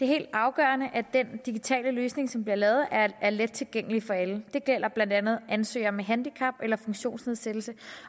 helt afgørende at den digitale løsning som bliver lavet er let tilgængelig for alle det gælder blandt andet ansøgere med handicap eller funktionsnedsættelse